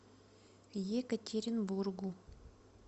екатеринбургу